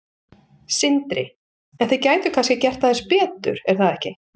Sindri: En þið gætuð kannski gert aðeins betur er það ekki?